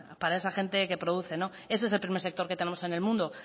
para esa gente que produce ese es el primer sector que tenemos en el mundo